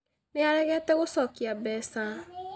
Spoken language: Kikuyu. Nĩ aregete gũcokia mbeca